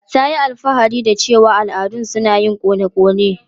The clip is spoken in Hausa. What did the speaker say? Ta yi alfahari da cewa al'adun su na yin kona konewa.